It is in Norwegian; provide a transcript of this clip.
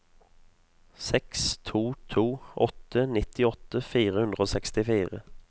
seks to to åtte nittiåtte fire hundre og sekstifire